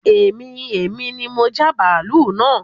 Bẹ́ẹ̀ni èmi ni mo já bàálú naa